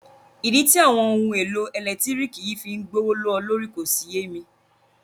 Ìdí tí àwọn ohun èlò ẹ̀lẹ́tírìkì yìí fí ń gbówó ló lórí si kò yé mi.